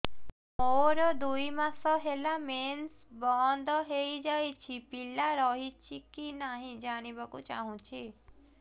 ମୋର ଦୁଇ ମାସ ହେଲା ମେନ୍ସ ବନ୍ଦ ହେଇ ଯାଇଛି ପିଲା ରହିଛି କି ନାହିଁ ଜାଣିବା କୁ ଚାହୁଁଛି